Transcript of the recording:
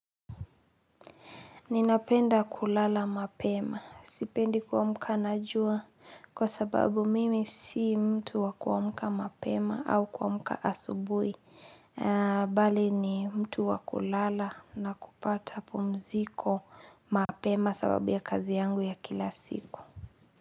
Ninapenda kulala mapema. Sipendi kuamka na jua kwa sababu mimi si mtu wakuamka mapema au kuamka asubuhi. Bali ni mtu wakulala na kupata pumziko mapema sababu ya kazi yangu ya kila siku.